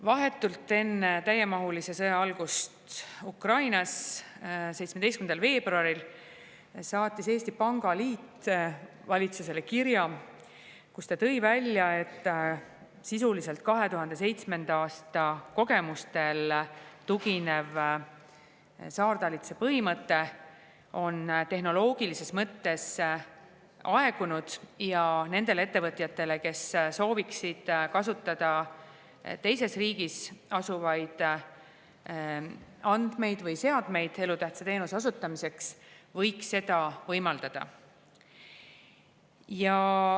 Vahetult enne täiemahulise sõja algust Ukrainas, 17. veebruaril saatis Eesti Pangaliit valitsusele kirja, milles ta tõi välja, et sisuliselt on 2007. aasta kogemustele tuginev saartalitluse põhimõte tehnoloogilises mõttes aegunud ning nendele ettevõtjatele, kes sooviksid kasutada teises riigis asuvaid andmeid või seadmeid elutähtsa teenuse osutamiseks, võiks seda võimaldada.